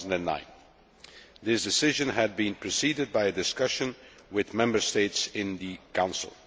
2009. This decision had been preceded by a discussion with Member States in the Council.